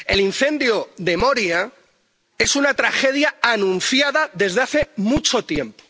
El incendio de Moria es una tragedia anunciada desde hace mucho tiempo.